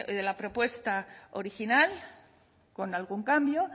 de la propuesta original con algún cambio